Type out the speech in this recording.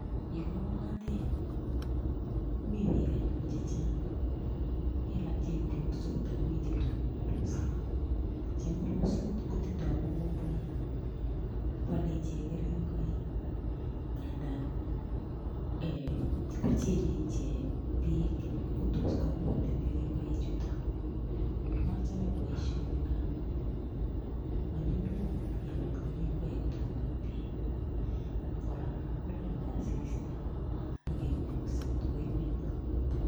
Yo koong'atet mi biik anyun chechang', mi alak cheing'uruksot akomi chetonondos. Cheng'uruksot kotindoi mokomboik, bale icheek keringoik nga ndaan kocheng'e icheek peek ngo tos koguut ing' keringoik chuutok. machame boisioni ngaamu manyumnyum kebal keringoik ngotkomong' peek akora kolale asista akeng'urukse kotkoimen